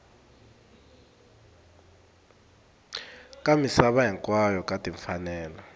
ka misava hinkwayo ka timfanelo